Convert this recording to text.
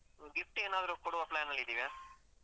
Gift ಏನಾದ್ರೂ ಕೊಡುವ plan ಅಲ್ಲಿ ಇದೆಯಾ?